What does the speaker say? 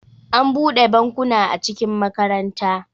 an bude bankuna a cikin makaranta